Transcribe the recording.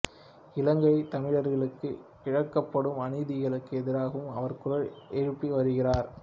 இலங்கையில் தமிழர்களுக்கு இழைக்கப்படும் அநீதிகளுக்கு எதிராகவும் அவர் குரல் எழுப்பி வருகிறார்